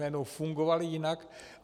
Najednou fungovaly jinak.